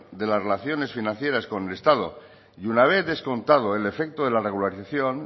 de las relaciones financieras con el estado y una vez descontado el efecto de la regularización